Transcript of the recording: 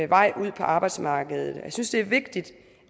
vej ud på arbejdsmarkedet jeg synes det er vigtigt